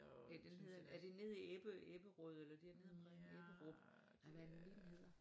Den hedder er det nede i Ebberød eller dernede omkring Ebberup nej hvad er det nu lige den hedder